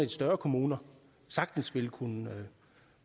større kommuner sagtens ville kunne